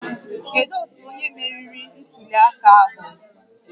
Kedu otu onye meriri ntuli aka ahụ?